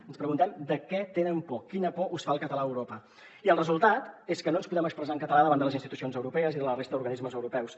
ens preguntem de què tenen por quina por us fa el català a europa i el resultat és que no ens podem expressar en català davant de les institucions europees i de la resta d’organismes europeus